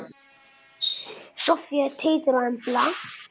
Soffía, Teitur og Embla.